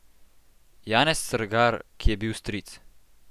Janez Strgar, ki je bil stric.